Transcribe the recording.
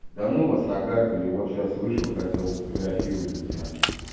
да ну вас накаркали вот сейчас вышел хотел сфотографировать для тебя